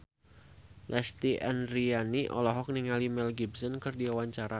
Lesti Andryani olohok ningali Mel Gibson keur diwawancara